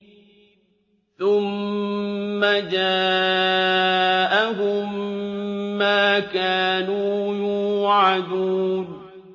ثُمَّ جَاءَهُم مَّا كَانُوا يُوعَدُونَ